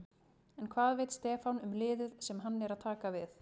En hvað veit Stefán um liðið sem hann er að taka við?